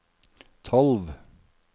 tolv